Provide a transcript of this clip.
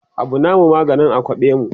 Abu namu maganin a kwaɓe mu